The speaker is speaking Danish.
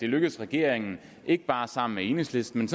lykkedes regeringen ikke bare sammen med enhedslisten